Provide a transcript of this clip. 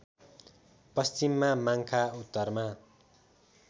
पश्चिममा माङ्खा उत्तरमा